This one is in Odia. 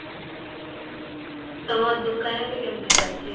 ତ ଦୁକାନ ଏବେ କେମିତି ଚାଲିଛି?